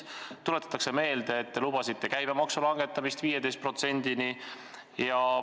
Tuletatakse meelde, et te lubasite käibemaksu langetada 15%-ni.